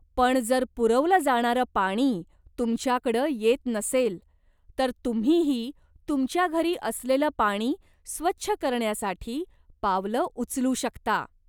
पण जर पुरवलं जाणारं पाणी तुमच्याकडं येत नसेल, तर तुम्हीही तुमच्या घरी असलेलं पाणी स्वच्छ करण्यासाठी पावलं उचलू शकता.